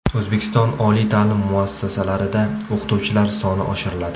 O‘zbekiston oliy ta’lim muassasalarida o‘qituvchilar soni oshiriladi.